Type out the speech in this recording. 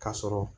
Ka sɔrɔ